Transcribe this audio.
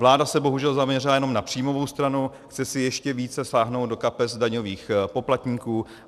Vláda se bohužel zaměřila jenom na příjmovou stranu, chce si ještě více sáhnout do kapes daňových poplatníků.